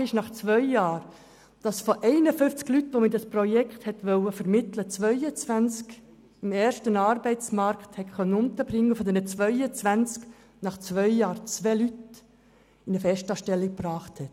Tatsache ist, dass man nach zwei Jahren von 51 Leuten, die man in diesem Projekt vermitteln wollte, 22 im ersten Arbeitsmarkt hat unterbringen können und von diesen 22 Personen nach zwei Jahren zwei eine Festanstellung hatten.